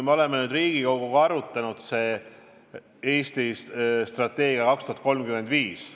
Me oleme nüüd Riigikoguga arutanud seda Eesti strateegiat kuni aastani 2035.